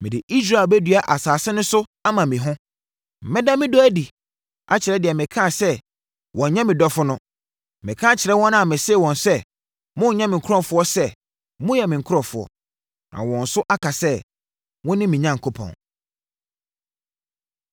Mede Israel bɛdua asase no so ama me ho; mɛda me dɔ adi akyerɛ deɛ mekaa sɛ ‘wonnyɛ me dɔfo’ no. Meka akyerɛ wɔn a mesee wɔn sɛ ‘monnyɛ me nkurɔfoɔ’ sɛ ‘moyɛ me nkurɔfoɔ’, na wɔn nso aka sɛ, ‘Wone me Onyankopɔn.’ ”